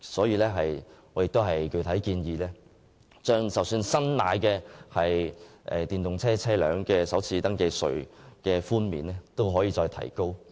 因此，我亦具體建議將購買電動車的首次登記稅寬免提高。